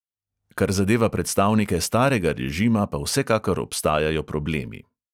Kar zadeva predstavnike starega režima, pa vsekakor obstajajo problemi.